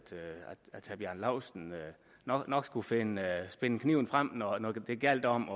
bjarne laustsen nok nok skulle finde finde kniven frem når når det gjaldt om